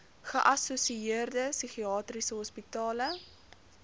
geassosieerde psigiatriese hospitale